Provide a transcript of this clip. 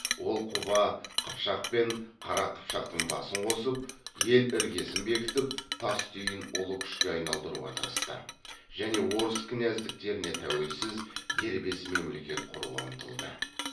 ол құба қыпшақ пен қара қыпшақтың басын қосып ел іргесін бекітіп тастүйін ұлы күшке айналдыруға тырысты және орыс кінәздіктеріне тәуелсіз дербес мемлекет құруға ұмтылды